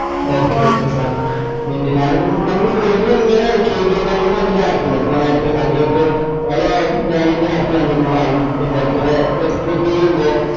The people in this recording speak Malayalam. okay okay fine പിന്നാ ഞാൻ ഇപ്പൊ ഞമ്മള് phone app ഉണ്ട് പിന്നെ കുറേ